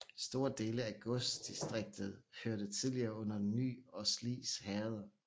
Store dele af godsdistriktet hørte tidligere under Ny og Slis herreder